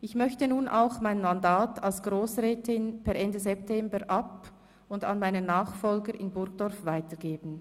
Ich möchte nun auch mein Mandat als Grossrätin per Ende September ab- und an meinen Nachfolger in Burgdorf weitergeben.